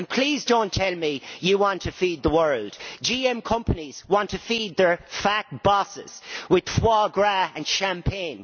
Please do not tell me you want to feed the world GM companies want to feed their fat bosses with foie gras and champagne.